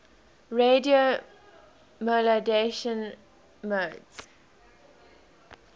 radio modulation modes